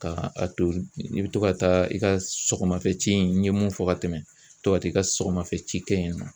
Ka a to i bɛ to ka taa i ka sɔgɔmafɛci in n ye mun fɔ ka tɛmɛn to ka taga i ka sɔgɔmafɛci kɛ yen nɔ.